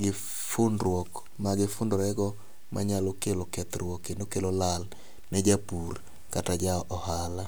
gi fundruok ma gifundorego manyalo kelo kethruok kendo kelo lal ne japur kata ne ja ohala.